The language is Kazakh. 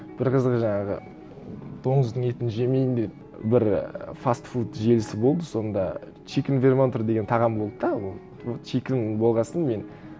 бір қызығы жаңағы доңыздың етін жемейін деп бір і фастфуд желісі болды сонда чикен вермонтер деген тағам болды да ол тура чикен болған соң мен